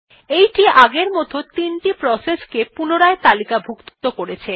এইটি এখন আগের মতন ৩ টি প্রসেসকে পুনরায় তালিকাভুক্ত করবে